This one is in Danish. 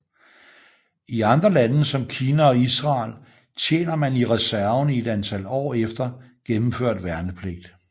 I andre lande som Kina og Israel tjener man i reserven i et antal år efter gennemført værnepligt